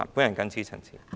我謹此陳辭。